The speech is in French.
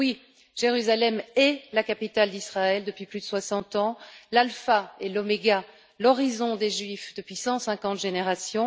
Oui, Jérusalem est la capitale d'Israël depuis plus de 60 ans, l'alpha et l'oméga, l'horizon des Juifs depuis 150 générations.